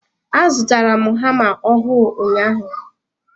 A zụtara m hama ọhụụ ụnyaahụ.